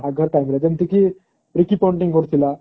ଯେମିତି କି ଋଙ୍କି କରୁଥିଲା